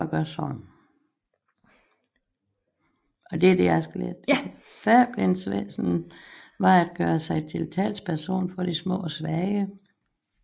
Fabelens væsen var at gøre sig til talsperson for de små og svage